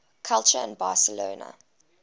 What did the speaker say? culture in barcelona